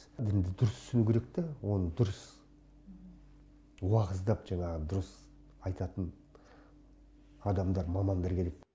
дінді дұрыс түсіну керек та оны дұрыс уағыздап жаңағы дұрыс айтатын адамдар мамандар керек